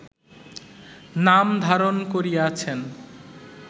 নাম ধারণ করিয়াছেন